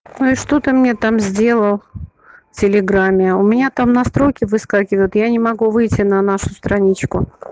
ну и что ты мне там сделал в телеграмме у меня там настройки выскакивают я не могу выйти на нашу страничку